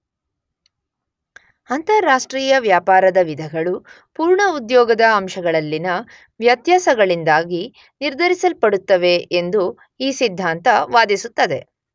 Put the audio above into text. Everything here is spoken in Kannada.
ಅಂತಾರಾಷ್ಟ್ರೀಯ ವ್ಯಾಪಾರದ ವಿಧಗಳು ಪೂರ್ಣ ಉದ್ಯೋಗದ ಅಂಶಗಳಲ್ಲಿನ ವ್ಯತ್ಯಾಸಗಳಿಂದಾಗಿ ನಿರ್ಧರಿಸಲ್ಪಡುತ್ತವೆ ಎಂದು ಈ ಸಿದ್ಧಾಂತ ವಾದಿಸುತ್ತದೆ.